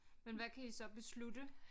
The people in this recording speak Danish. Men hvad kan I så beslutte